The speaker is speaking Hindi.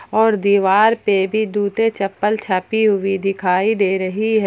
और दीवार पे भी जूते चप्पल छपी हुई दिखाई दे रही है।